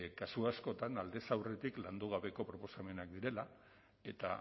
kasu askotan aldez urretik landu gabeko proposamenak direla eta